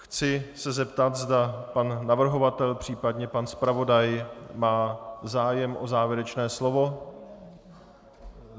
Chci se zeptat, zda pan navrhovatel, případně pan zpravodaj má zájem o závěrečné slovo.